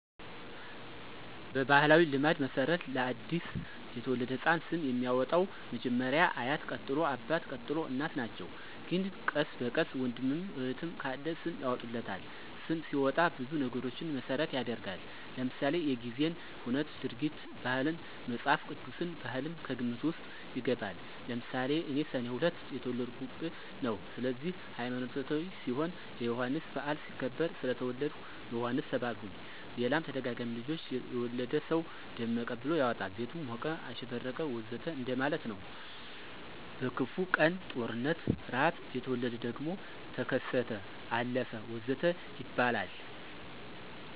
በባሕላዊ ልማድ መሠረት ለ አዲስ የተወለደ ሕፃን ስም የሚያወጣዉ መጀመሪያ አያት ቀጥሎ አባት፣ ቀጥሎ እናት ናቸው ግን ቀስ በቀስ ወንድምም እህትም ካለ ስም ያወጡለታል። ስም ሲወጣ ብዙ ነገሮችን መሰረት ይደረጋል ለምሳሌ:-የጊዜን ሁነት፣ ድርጊትን፣ ባህላትን፣ መፅሐፍ ቅዱስን፣ ባህልም ከግምት ውስጥ ይገባል። ለምሳሌ እኔ ሰኔ 2 የተወለድሁበት ነው ስለዚህ ሀይማኖታዊ ሲሆን የዮሐንስ በዓል ሲከበር ስለተወለድሁ ዮሐንስ ተባልሁኝ ሌላም ተደጋጋሚ ልጆች የወለደ ሰው ደመቀ ብሎ ያወጣል ቤቱ ሞቀ፣ አሸበረቀ ወዘተ እንደማለት ነው። በክፉ ቀን(ጦርነት፣ ርሐብ) የተወለደ ደግሞ ተከሰተ፣ አለፈ ወዘተ ይባላል